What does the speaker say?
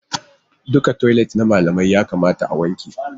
Duka toilet na malamai ya kamata a wanke su